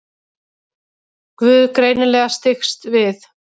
Guð greinilega styggst við.